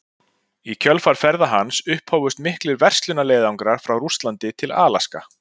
Í kjölfar ferða hans upphófust miklir verslunarleiðangrar frá Rússlandi til Alaska.